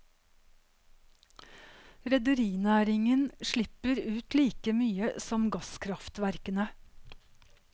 Rederinæringen slipper ut like mye som gasskraftverkene.